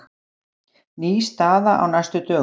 Ný staða á næstu dögum